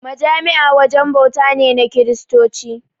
Majami'a wajen bauta ne na Kiristoci.